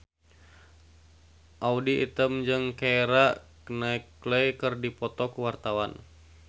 Audy Item jeung Keira Knightley keur dipoto ku wartawan